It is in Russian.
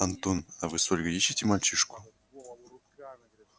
антон а вы с ольгой ищите мальчишку